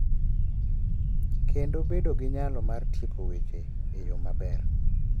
Kendo bedo gi nyalo mar tieko weche e yo maber,